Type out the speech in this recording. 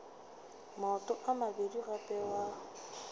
maoto a mabedi gape wa